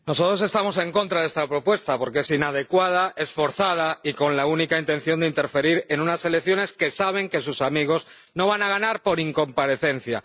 Señor presidente, nosotros estamos en contra de esta propuesta porque es inadecuada, es forzada, y su única intención es interferir en unas elecciones que saben que sus amigos no van a ganar por incomparecencia.